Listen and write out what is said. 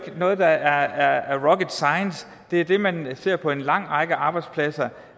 noget der er rocket science det er det man ser på en lang række arbejdspladser